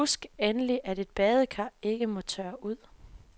Husk endelig, at et badekar ikke må tørre ud.